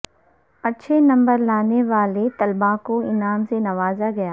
اچھے نمبر لانے والےطلبا کو انعام سے نوازا گیا